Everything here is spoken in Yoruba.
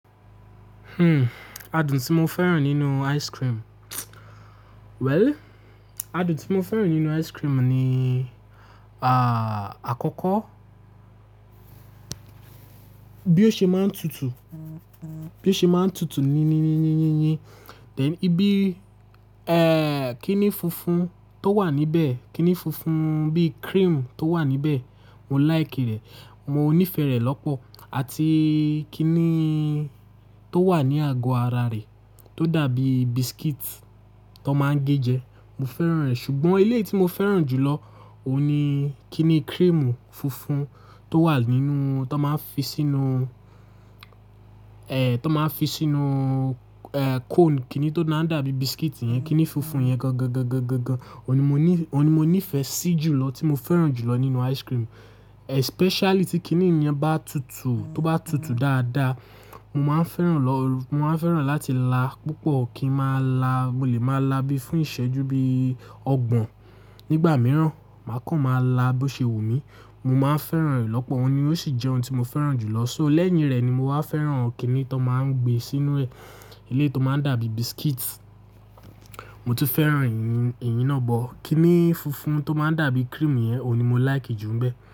Hmm, adùn tí mo fẹ́ràn nínú ice cream. Well, adùn tí mo fẹ́ràn nínú ice cream ni, à, àkọ́kọ́ bí ó ṣe máa ń tutù, bí ó ṣe máa ń tutù ni ní ní ní yínyín. Then ìbí, ẹ, kíni funfun tó wà níbẹ̀, kíni funfun bí cream tó wà níbẹ̀, mo like rẹ̀, mo nífẹ̀ẹ́ rẹ̀ lọ́pọ̀. Àti kíni tó wà ní àgọ́ ara rẹ̀ tó dàbí biscuit tó máa ń gé jẹ, mo fẹ́ràn rẹ̀. Ṣùgbọ́n eléyií tí mo fẹ́ràn jù lọ òun ni kíni cream funfun tó wà nínú, tó máa ń fi sínú, ẹ, tó máa ń fi sínú, ẹ, cone. Kíni tó máa ń dàbí biscuit yẹn, kíni funfun yẹn gangan gan gan gan gan, òun ni mo ní, òun ni mo nífẹ̀ẹ́ sí jùlọ tí mo fẹ́ràn jùlọ nínú ice cream. Especially tí kíni yẹn bá tutù, tó bá tutù dáadáa, mo máa ń fẹ́ràn lọ, mo máa ń fẹ́ràn láti la púpọ̀, kí ń máa la, mo lè máa la bí fún ìṣẹ́jú bí ọgbọ̀n. Nígbà mìíràn, màá kàn máa la bó ṣe wù mí. Mo máa ń fẹ́ràn rẹ̀ lọ́pọ̀, òun ni ó sì jẹ́ ohun tí mo fẹ́ràn jùlọ. So lẹ́yìn rẹ̀ ni mo máa ń fẹ́ràn kíni tó máa ń gbé sínú rẹ̀. Eléyìí tó máa ń dàbí biscuit, mo tún fẹ́ràn èyí, èyí náà but. Kíni funfun tó máa ń dàbí cream yẹn, òun ni mo like jù ń bẹ.